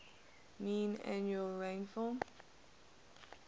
mean annual rainfall